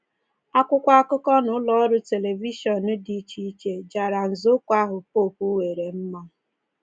Akwụkwọ akụkọ na ụlọ ọrụ telivishọn dị iche iche jara nzọụkwụ ahụ popu weere mma.